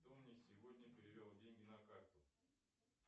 кто мне сегодня перевел деньги на карту